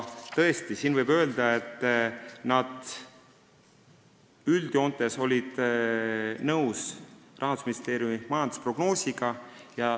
Tõesti võib öelda, et nad üldjoontes olid nõus Rahandusministeeriumi majandusprognoosiga.